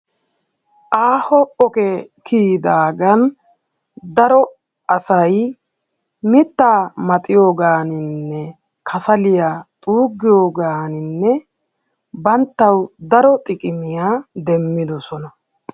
Aaho ogee kiyidaagan daro asayi mittaa maxiyogaaninne kasaliya xuuggiyogan banttawu daro xiqimiya demmidosona.